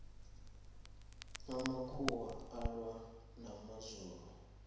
amakhuwa alwa namazulu